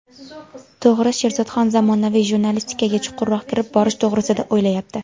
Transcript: To‘g‘ri, Sherzodxon zamonaviy jurnalistikaga chuqurroq kirib borish to‘g‘risida o‘ylayapti.